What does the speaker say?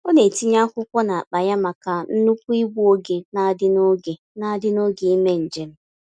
Ọ na-etinye akwụkwọ n'akpa ya maka nnukwu igbu oge n'adị oge n'adị n'oge ímé njem.